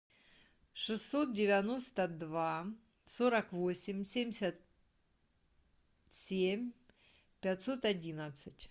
шестьсот девяносто два сорок восемь семьдесят семь пятьсот одиннадцать